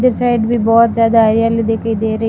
उधर साइड भी बहोत ज्यादा हरियाली दिखाई दे रही।